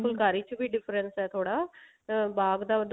ਫੁਲਕਾਰੀ ਚ difference ਹੈ ਥੋੜਾ ਅਹ ਬਾਗ ਦਾ